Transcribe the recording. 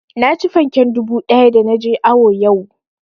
Naci fanken dubu ɗaya da na je awo yau